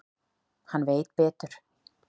Hann veit betur.